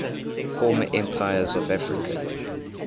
former empires of africa